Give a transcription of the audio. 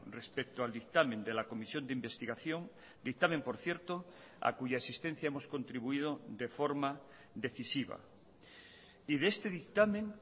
respecto al dictamen de la comisión de investigación dictamen por cierto a cuya existencia hemos contribuido de forma decisiva y de este dictamen